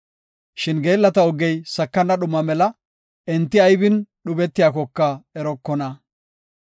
Shin geellata ogey sakana dhuma mela; enti aybin dhubetiyakoka erokona.